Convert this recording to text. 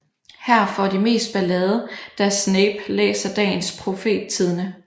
Her får de meget ballade da Snape læser Dagens Profettidende